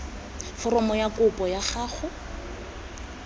foromo ya kopo ya gago